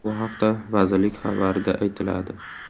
Bu haqda vazirlik xabarida aytiladi .